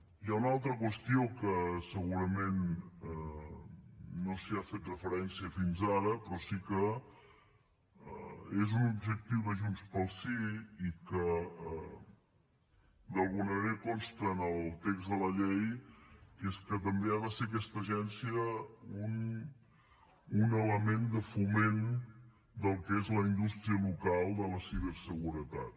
hi ha una altra qüestió que segurament no s’hi ha fet referència fins ara però sí que és un objectiu de junts pel sí i que d’alguna manera consta en el text de la llei que és que també ha de ser aquesta agència un element de foment del que és la indústria local de la ciberseguretat